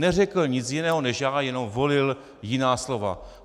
Neřekl nic jiného než já, jenom volil jiná slova.